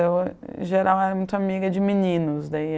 Eu geral, eu era muito amiga de meninos, daí